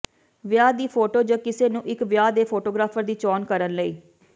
ਵਿਆਹ ਦੀ ਫੋਟੋ ਜ ਕਿਸ ਨੂੰ ਇੱਕ ਵਿਆਹ ਦੇ ਫੋਟੋਗ੍ਰਾਫਰ ਦੀ ਚੋਣ ਕਰਨ ਲਈ